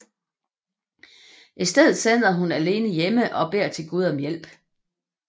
I stedet sidder hun alene hjemme og beder til Gud om hjælp